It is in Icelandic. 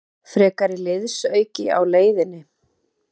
Frekari liðsauki á leiðinni?